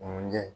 Mun ɲɛ